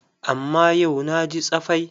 Amma yau na ji tsafai.